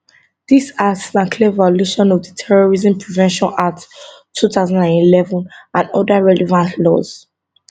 dis acts na clear violation of di terrorism prevention act 2011 and oda relevant laws